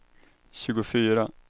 tjugofyra